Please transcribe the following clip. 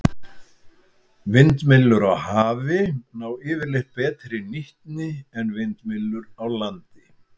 Vindmyllur á hafi ná yfirleitt betri nýtni en vindmyllur á landi.